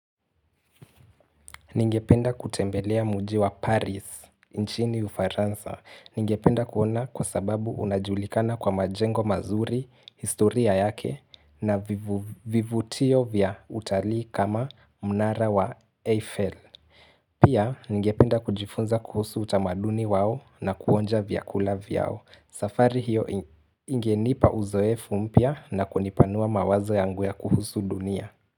Ningependa kutembelea mji wa Paris, nchini ufaransa. Ningependa kuona kwa sababu unajulikana kwa majengo mazuri, historia yake na vivutio vya utalii kama mnara wa Eiffel. Pia, ningependa kujifunza kuhusu utamaduni wao na kuonja vyakula vyao. Safari hiyo ingenipa uzoefu mpya na kunipanua mawazo yangu ya kuhusu dunia.